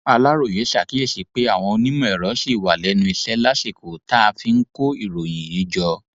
aláròye ṣàkíyèsí pé àwọn onímọẹrọ ṣì wà lẹnu iṣẹ lásìkò tá a fi ń kó ìròyìn yìí jọ